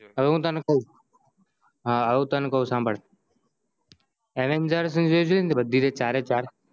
જો હવે હું તને કવ હવે હું તને કાવ સાંભળ avengers ની જે છે બધી ચારે ચાર